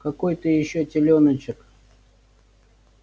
какой ты ещё телёночек